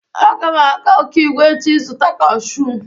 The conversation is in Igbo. Aga m aga Okigwe echi ịzụta kashụụ.